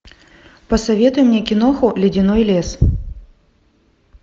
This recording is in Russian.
посоветуй мне киноху ледяной лес